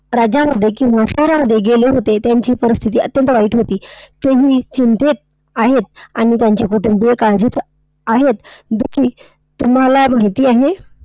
राज्यांमध्ये किंवा शहरांमध्ये गेले होते, त्यांची परिस्थिती अत्यंत वाईट होती. तुम्ही चिंतेत आहेत आणि त्यांच्या बद्दल जे काळजीचा आहेत याची तुम्हाला माहिती आहे?